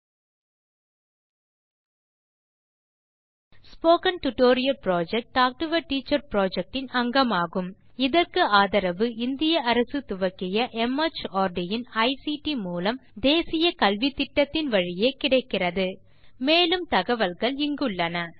national mission on education through ICT மார்ட் government of India ஆல் ஆதரிக்கப்படும் talk to a teacher project இன் ஒரு அங்கம் ஸ்போக்கன் டியூட்டோரியல் புரொஜெக்ட் ஆகும் மேலும் தகவல்கள் இங்குள்ளன